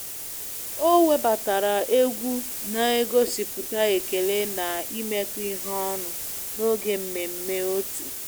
O webatara egwu na-egosipụta ekele na imekọ ihe ọnụ n'oge mmemme otu